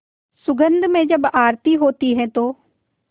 सुगंध में जब आरती होती है तो